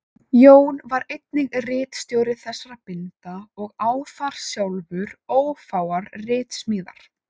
Jón var einnig ritstjóri þessara binda og á þar sjálfur ófáar ritsmíðar.